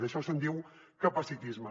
d’això se’n diu capacitisme